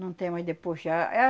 Não tem mas depois já